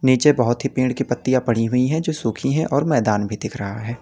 नीचे बहुत ही पेड़ की पत्तियां पड़ी हुई है जो सुखी है और मैदान भी दिख रहा है।